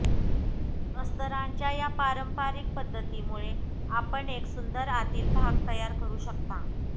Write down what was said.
अस्तरांच्या या पारंपारिक पद्धतीमुळे आपण एक सुंदर आतील भाग तयार करू शकता